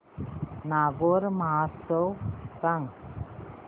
नागौर महोत्सव सांग